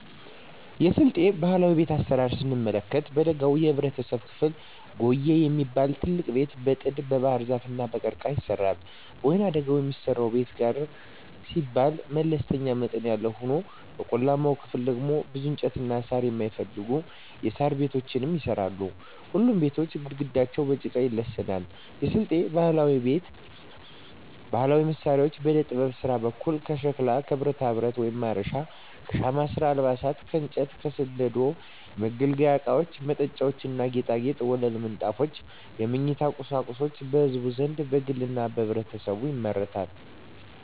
የስልጤ ባህላዊ ቤት አሰራር ስንመለከት በደጋው የህብረተሰብ ክፍል ጉዬ የሚባል ትልቅ ቤት በጥድ, በባህርዛፍ እና በቀርቀሀ ይሰራል። በወይናደጋው የሚሰራው ቤት ጋር ሲባል መለስተኛ መጠን ያለው ሆኖ በቆላማው ክፍል ደግሞ ብዙ እንጨትና ሳር የማይፈልጉ የሣር ቤቶች ይሰራሉ። ሁሉም ቤቶች ግድግዳቸው በጭቃ ይለሰናሉ። የስልጤ ባህላዊ ቤት ባህላዊ መሳሪያዎች በዕደጥበብ ስራ በኩል ከሸክላ ከብረታብረት (ማረሻ) ከሻማ ስራ አልባሳት ከእንጨት ከስንደዶ የመገልገያ እቃወች መጠጫዎች ና ጌጣጌጦች ወለል ምንጣፎች የመኝታ ቁሳቁሶች በህዝቡ ዘንድ በግልና በህብረት ይመረታሉ።